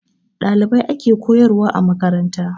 Ɗalibai ake koyarwa a makaranta.